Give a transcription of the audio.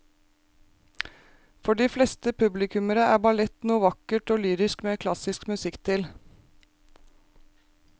For de fleste publikummere er ballett noe vakkert og lyrisk med klassisk musikk til.